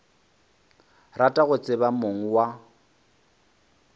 rata go tseba mong wa